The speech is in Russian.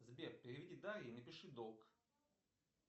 сбер переведи дарье и напиши долг